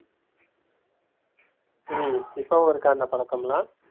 ஹம் இப்பவும் இருக்கா அந்த பழக்கமெல்லாம்?